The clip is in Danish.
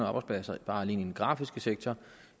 arbejdspladser alene i den grafiske sektor